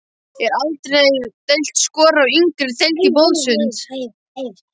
Eldri deild skorar á yngri deild í boðsund.